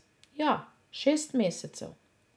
Ja, šest mesecev.